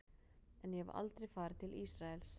En ég hef aldrei farið til Ísraels.